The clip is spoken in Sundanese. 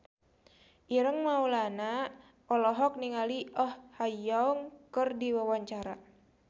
Ireng Maulana olohok ningali Oh Ha Young keur diwawancara